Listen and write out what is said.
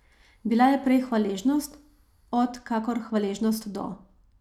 Bila je prej hvaležnost od kakor hvaležnost do.